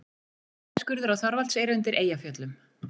Kornskurður á Þorvaldseyri undir Eyjafjöllum.